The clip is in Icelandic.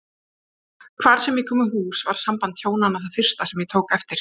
Hvar sem ég kom í hús var samband hjónanna það fyrsta sem ég tók eftir.